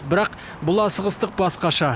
бірақ бұл асығыстық басқаша